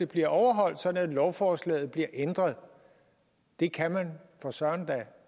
bliver overholdt sådan at lovforslaget bliver ændret det kan man for søren da